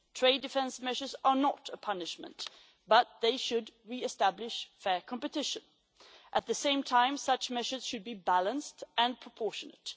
this. Trade defence measures are not a punishment, but they should re-establish fair competition. At the same time, such measures should be balanced and proportionate.